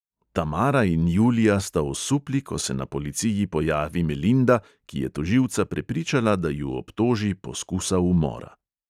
Tamara in julija sta osupli, ko se na policiji pojavi melinda, ki je tožilca prepričala, da ju obtoži poskusa umora.